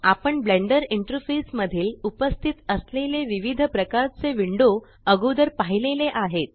आपण Blender interface मधील उपस्तित असलेले विविध प्रकारचे विंडो अगोदर पाहिलेले आहेत